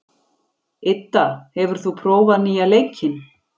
Idda, hefur þú prófað nýja leikinn?